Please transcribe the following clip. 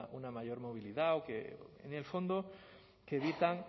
una mayor movilidad o que en el fondo que evitan